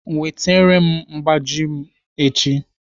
Wetere m mgbaji m echi!